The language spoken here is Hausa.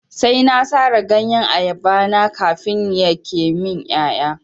Sai na sare ganyen ayaba na kafin yake min ƴaƴa.